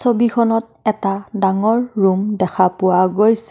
ছবিখনত এটা ডাঙৰ ৰূম দেখা পোৱা গৈছে।